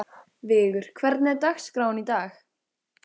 Vigur, hvernig er dagskráin í dag?